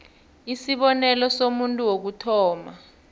isibonelo somuntu wokuthoma